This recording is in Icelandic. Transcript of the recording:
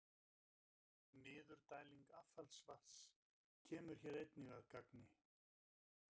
Niðurdæling affallsvatns kemur hér einnig að gagni.